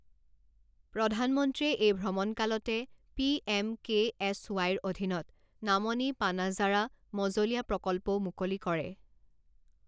প্ৰধানমন্ত্ৰীয়ে এই ভ্ৰমণকালতে পি এম কে এছ ৱাইৰ অধীনত নামনি পানাজাৰা মজঁলীয়া প্ৰকল্পও মুকলি কৰে।